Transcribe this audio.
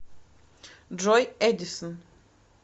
джой эдисон